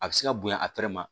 A bɛ se ka bonya a tɛrɛ ma